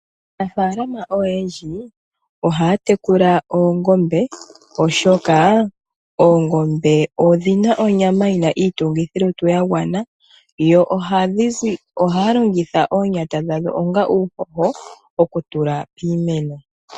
Aanafalama oyendji ohaya tekula oongombe, oshoka oongombe odhi na onyama yi na iitungithilutu ya gwana. Yo ohaya longitha omapumba gadho onga uuhoho okutula piimeno.